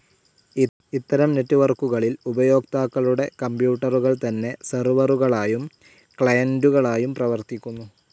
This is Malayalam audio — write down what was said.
ഇത്തരം നെറ്റ്‌വർക്കുകളിൽ ഉപയോക്താക്കളുടെ കമ്പ്യൂട്ടറുകൾ തന്നെ സെർവറുകളായും ക്ലയന്റുകളായും പ്രവർത്തിക്കുന്നു.